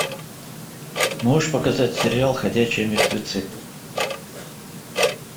можешь показать сериал ходячие мертвецы